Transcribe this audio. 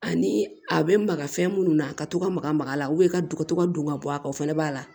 Ani a bɛ maka fɛn minnu na ka to ka maga maga a la ka dɔgɔtɔ ka don ka bɔ a kan o fana b'a la